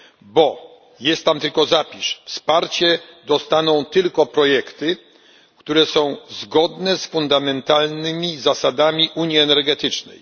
Bo jest tam tylko zapis wsparcie dostaną tylko projekty, które są zgodne z fundamentalnymi zasadami unii energetycznej.